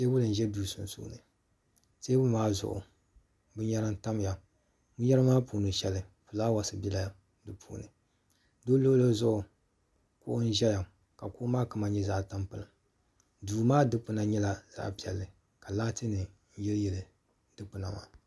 teebuli n ʒɛ duu sunsuuni teebuli maa zuɣu binyɛra n tamya binyɛra maa puuni shɛli fulaawaasi biɛla di puuni di luɣuli zuɣu kuɣu ʒɛya ka kuɣu maa kama nyɛ zaɣ tampilim duu maa dikpuna nyɛla zaɣ piɛlli ka laati nim yili yili dikpuna maa